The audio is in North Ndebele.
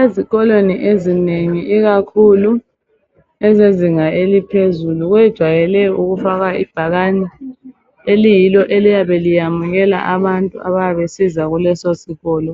Ezikolweni ezinengi ikakhulu ezezinga eliphezulu kwejayele ukufakwa ibhakani eliyilo eliyabe liyamukela abantu abayabe besiza kuleso sikolo,